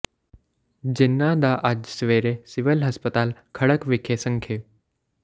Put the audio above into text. ਜਿਨ੍ਹਾਂ ਦਾ ਅੱਜ ਸਵੇਰੇ ਸਿਵਲ ਹਸਪਤਾਲ ਖਰੜ ਵਿਖੇ ਸੰਖੇ